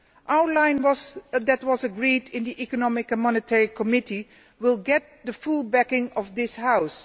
Our line that was agreed in the Economic and Monetary Committee will get the full backing of this House.